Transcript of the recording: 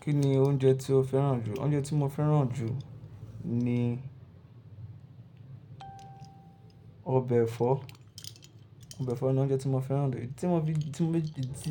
Kí ni oúnjẹ tí o fẹ́ràn jù? Oúnjẹ tí mo fẹ́ràn jù ni ọbẹ̀ ẹ̀fọ́. Ọbẹ̀ ẹ̀fọ́ ni oúnjẹ tí mo fẹ́ràn jù.